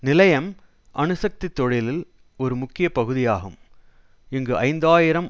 நிலையம் அணுசக்தி தொழிலில் ஒரு முக்கிய பகுதி ஆகும் இங்கு ஐந்து ஆயிரம்